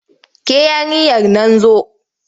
Ke yarinyar nan zo!